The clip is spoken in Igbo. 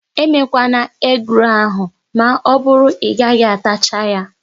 Emekwana egi rolu ahụ maọbụru na Ị gaghị atacha ya!